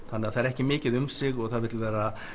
þannig að það er ekki mikið um sig og það vill vera